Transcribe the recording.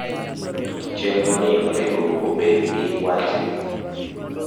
chenro ni onego obed gi wach ni